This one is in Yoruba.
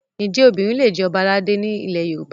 Ǹjẹ́ obìnrin lè jẹ Ọba aládé ni ilẹ̀ Yorùbá?